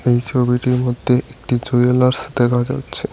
এই ছবিটির মধ্যে একটি জুয়েলার্স দেখা যাচ্ছে।